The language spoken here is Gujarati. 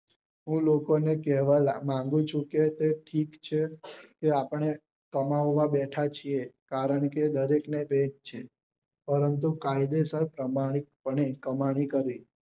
અને હું લોકો ને કેહવા મંગુ છું કે ઠીક છે કે આપડે કમાવા બેઠા છીએ કારણ કે દરેક ને પેટ છે પરંતુ કાયદેસર કમાની અને કમાણી કરવી